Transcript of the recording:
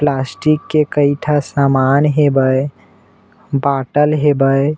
Plastic के कई ठा समान हेबय बाटल हेबय।